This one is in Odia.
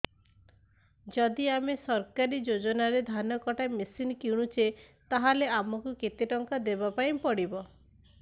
ଯଦି ଆମେ ସରକାରୀ ଯୋଜନାରେ ଧାନ କଟା ମେସିନ୍ କିଣୁଛେ ତାହାଲେ ଆମକୁ କେତେ ଟଙ୍କା ଦବାପାଇଁ ପଡିବ